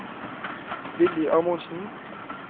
Willy Amundsen